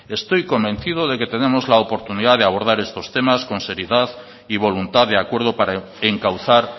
estoy convencido de que tenemos la oportunidad de abordar estos temas con seriedad y voluntad de acuerdo para encauzar